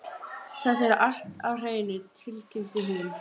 Þetta er allt á hreinu, tilkynnti hún.